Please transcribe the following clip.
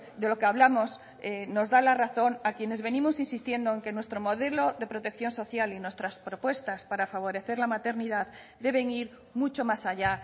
de lo que hablamos nos da la razón a quienes venimos insistiendo en que nuestro modelo de protección social y nuestras propuestas para favorecer la maternidad deben ir mucho más allá